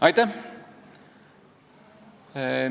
Aitäh!